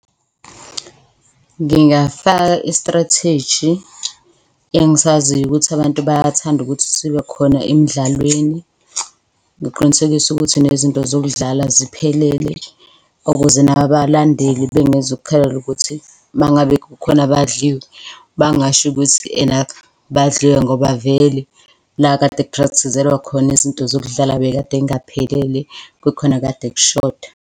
Ngingafaka i-strategy engisaziyo ukuthi abantu bayathanda ukuthi sibe khona emdlalweni. Ngiqinisekise ukuthi nezinto zokudlala ziphelele ukuze nabalandeli bengezo kukhalela ukuthi mangabe kukhona abadliwe bangasho ukuthi ena badliwe ngoba vele la kade ku-practice-zelwa khona izinto zokudlala bekadey'ngaphelele kukhona okade kushoda.